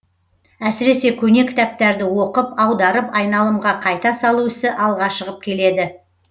әсіресе көне кітаптарды оқып аударып айналымға қайта салу ісі алға шығып келеді